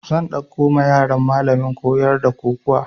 Zan ɗauko ma yaran malamin koyar da kokuwa